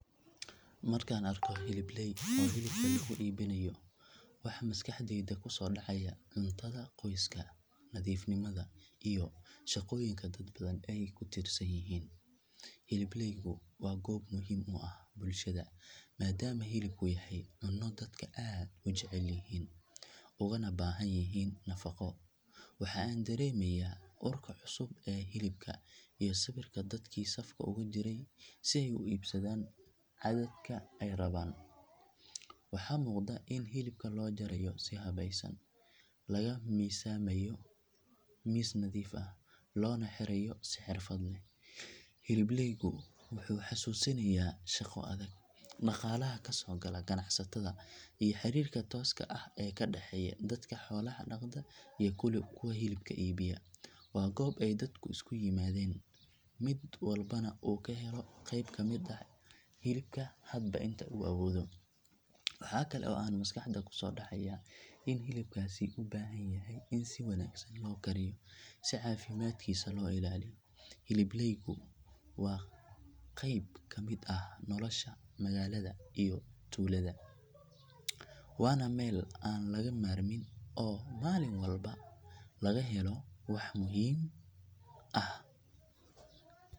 Markaan arko hilibleey oo hilibka lagu iibinayo waxa maskaxdayda ku soo dhacaya cuntada qoyska, nadiifnimada, iyo shaqooyinka dad badan ay ku tiirsan yihiin. Hilibleeygu waa goob muhiim u ah bulshada maadaama hilibku yahay cunno dadka aad u jecel yihiin uguna baahan yihiin nafaqo. Waxa aan dareemayaa urka cusub ee hilibka iyo sawirka dadkii safka ugu jira si ay u iibsadaan cadadka ay rabaan. Waxaa muuqda in hilibka loo jarayo si habaysan, lagu miisaamayo miis nadiif ah, loona xirayo si xirfad leh. Hilibleeygu wuxuu xasuusinayaa shaqo adag, dhaqaalaha ka soo gala ganacsatada iyo xiriirka tooska ah ee ka dhaxeeya dadka xoolaha dhaqda iyo kuwa hilibka iibinaya. Waa goob ay dadku isku yimaadaan, mid walbana uu ka helo qeyb ka mid ah hilibka hadba inta uu awoodo. Waxa kale oo aan maskaxda ku soo dhacaya in hilibkaasi u baahan yahay in si wanaagsan loo kariyo si caafimaadkiisa loo ilaaliyo. Hilibleeygu waa qeyb ka mid ah nolosha magaalada iyo tuulada, waana meel aan laga maarmin oo maalin walba laga helo wax muhiim ah.